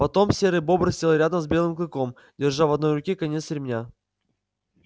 потом серый бобр сел рядом с белым клыком держа в одной руке конец ремня